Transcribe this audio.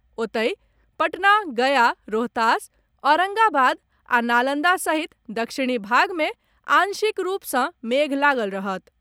ओतहि, पटना, गया, रोहतास, औरंगाबाद आ नालंदा सहित दक्षिणी भाग मे आंशिक रूप सॅ मेघ लागल रहत।